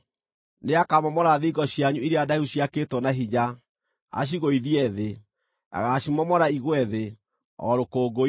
Nĩakamomora thingo cianyu iria ndaihu ciakĩtwo na hinya, acigũithie thĩ; agaacimomora igwe thĩ, o rũkũngũ-inĩ.